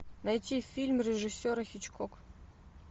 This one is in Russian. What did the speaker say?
найти фильм режиссера хичкок